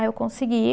Aí eu consegui.